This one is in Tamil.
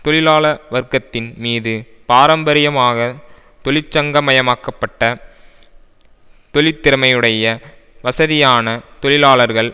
தொழிலாள வர்க்கத்தின் மீது பாரம்பரியமாக தொழிற்சங்கமாக்கப்பட்ட தொழிற்திறமையுடைய வசதியான தொழிலாளர்கள்